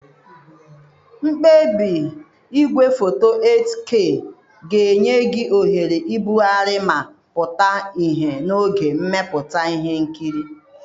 Mkpebi igwefoto 8K ga-enye gị ohere ibugharị ma pụta ihe n'oge mmepụta ihe nkiri.